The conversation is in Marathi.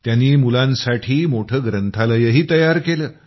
त्यांनी मुलांसाठी मोठं ग्रंथालयही तयार केलं